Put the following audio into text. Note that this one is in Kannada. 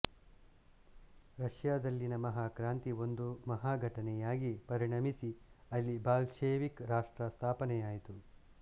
ರಷ್ಯದಲ್ಲಿನ ಮಹಾಕ್ರಾಂತಿ ಒಂದು ಮಹಾಘಟನೆಯಾಗಿ ಪರಿಣಮಿಸಿ ಅಲ್ಲಿ ಬಾಲ್ಷೆವಿಕ್ ರಾಷ್ಟ್ರ ಸ್ಥಾಪನೆಯಾಯಿತು